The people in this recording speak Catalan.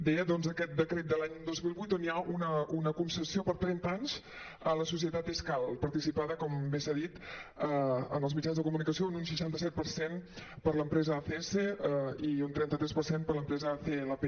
deia doncs aquest decret de l’any dos mil vuit on hi ha una concessió per a trenta anys a la societat escal participada com bé s’ha dit en els mitjans de comunicació en un seixanta set per cent per l’empresa acs i un trenta tres per cert per l’empresa clp